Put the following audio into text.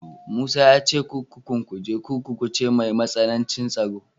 Musa ya ce kurkukun Kuje Kurkuku ce mai matsanancin tsaro.